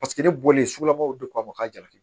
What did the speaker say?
Paseke ne bɔlen sugula ko k'a jarabi